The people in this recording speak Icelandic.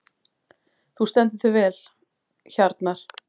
Þú stendur þig vel, Hjarnar!